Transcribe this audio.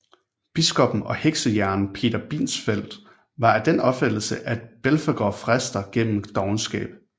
Biskoppen og heksejægeren Peter Binsfeld var af den opfattelse at Belfegor frister gennem dovenskab